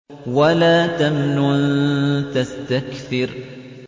وَلَا تَمْنُن تَسْتَكْثِرُ